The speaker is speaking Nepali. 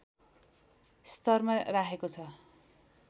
स्तरमा राखेको छ